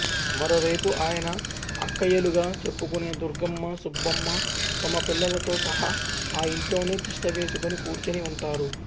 మరో వైపు ఆయన అక్కయ్యలుగా చెప్పుకునే దుర్గమ్మ సుబ్బమ్మ తమ పిల్లలతో సహా ఆ ఇంట్లోనే తిష్టవేసుకుని కూర్చుని ఉంటారు